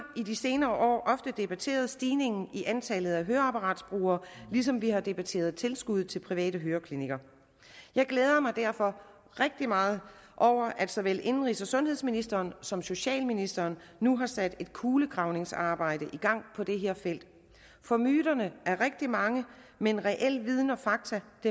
i de senere år ofte debatteret stigningen i antallet af høreapparatbrugere ligesom vi har debatteret tilskud til private høreklinikker jeg glæder mig derfor rigtig meget over at såvel indenrigs og sundhedsministeren som socialministeren nu har sat et kulegravningsarbejde i gang på det her felt for myterne er rigtig mange men reel viden og fakta